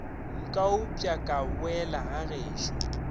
nka upša ka boela gagešo